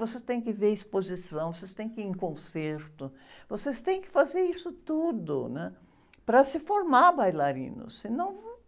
Vocês têm que ver exposição, vocês têm que ir em concerto, vocês têm que fazer isso tudo, né? Para se formar bailarinos, senão